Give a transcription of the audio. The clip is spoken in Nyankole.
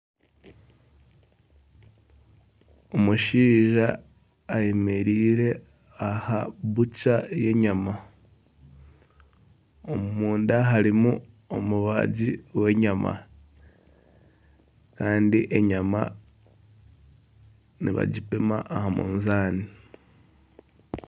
Omushaija ayemereire ahu barikuguriza enyama. Omunda harimu omubaaji w'enyama kandi enyama nibagipima aha munzaani.